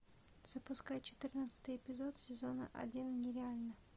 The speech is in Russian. запускай четырнадцатый эпизод сезона один нереально